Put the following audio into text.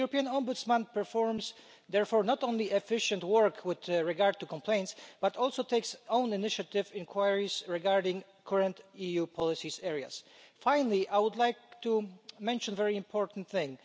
The European Ombudsman performs therefore not only efficient work with regard to complaints but also takes own initiative inquiries regarding current EU policy areas. Finally, I would like to mention a very important thing.